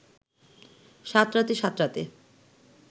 সাঁতরাতে সাঁতরাতে